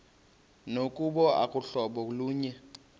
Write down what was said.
nokuba aluhlobo lunye